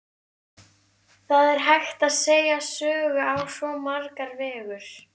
Það er hægt að segja sögur á svo marga vegu.